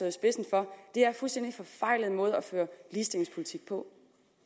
i spidsen for er en fuldstændig forfejlet måde at føre ligestillingspolitik på